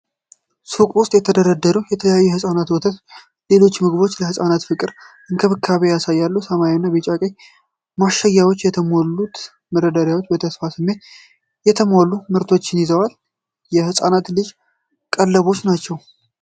ሱቅ ውስጥ የተደረደሩ የተለያዩ የሕፃናት ወተቶችና ሌሎች ምግቦች ለህፃናት ፍቅርና እንክብካቤን ያሳያሉ። ሰማያዊ፣ ቢጫና ቀይ ማሸጊያዎች የተሞሉትን መደርደሪያዎች በተስፋ ስሜት የተሟሉ ምርቶችን ይዘዋል። የህጻን ልጅ ቀለቦች ናቸው።